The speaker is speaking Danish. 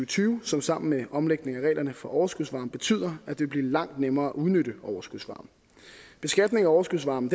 tyve som sammen med omlægningen af reglerne for overskudsvarme betyder at det vil blive langt nemmere at udnytte overskudsvarme beskatningen af overskudsvarme